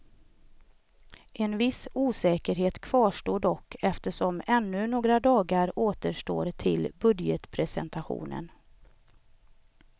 En viss osäkerhet kvarstår dock eftersom ännu några dagar återstår till budgetpresentationen.